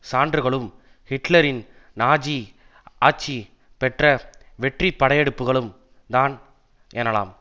சான்றுகளும் ஹிட்லரின் நாஜி ஆட்சி பெற்ற வெற்றிப்படையெடுப்புக்களும் தான் எனலாம்